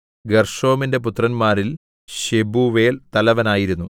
ഗേർശോമിന്റെ പുത്രന്മാരിൽ ശെബൂവേൽ തലവനായിരുന്നു